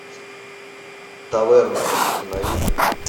таверна установи